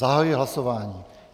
Zahajuji hlasování.